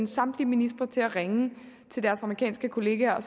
samtlige ministre til at ringe til deres amerikanske kollegaer og